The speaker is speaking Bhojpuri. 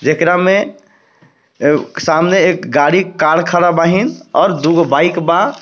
जेकरा में सामने एक गाड़ी कर खड़ा बाहिन और दू गो बाइक बा।